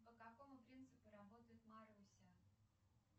по какому принципу работает маруся